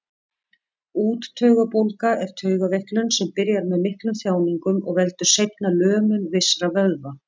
Úttaugabólga er taugaveiklun sem byrjar með miklum þjáningum og veldur seinna lömun vissra vöðva.